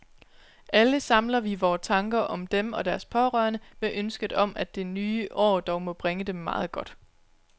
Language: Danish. Alle samler vi vore tanker om dem og deres pårørende med ønsket om, at det nye år dog må bringe dem meget godt.